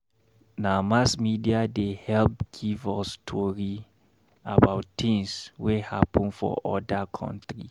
Na mass media dey help give us tori about tins wey happen for oda county.